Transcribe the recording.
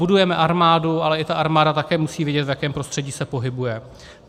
Budujeme armádu, ale i ta armáda také musí vědět, v jakém prostředí se pohybuje.